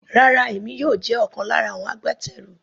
Rárá, èmi yóò jẹ́ ọ̀kan lára àwọn agbátẹrù.